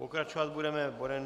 Pokračovat budeme bodem